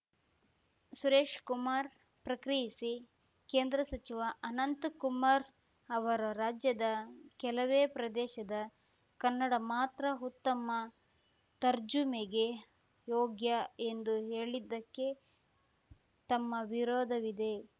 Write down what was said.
ಸುರೇಶ್ ಕುಮಾರ್‌ ಪ್ರಕ್ರಿಯಿಸಿ ಕೇಂದ್ರ ಸಚಿವ ಅನಂತಕುಮಾರ್‌ ಅವರು ರಾಜ್ಯದ ಕೆಲವೇ ಪ್ರದೇಶದ ಕನ್ನಡ ಮಾತ್ರ ಉತ್ತಮ ತರ್ಜುಮೆಗೆ ಯೋಗ್ಯ ಎಂದು ಹೇಳಿದ್ದಕ್ಕೆ ತಮ್ಮ ವಿರೋಧವಿದೆ